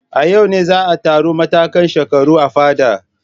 A yau ne za a taru matakan shekaru a fadar.